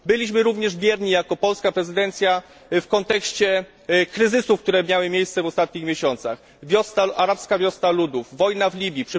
Byliśmy również bierni jako polska prezydencja w kontekście kryzysów, które miały miejsce w ostatnich miesiącach arabska wiosna ludów, wojna w Libii.